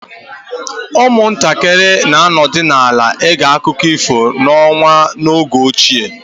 Ụmụntakịrị na-anọdụ ala ege akụkọ ifo n'ọnwa n'oge ochie